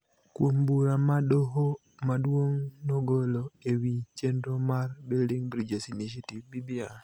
kuom bura ma Doho Maduong� nogolo e wi chenro mar Building Bridges Initiative (BBI),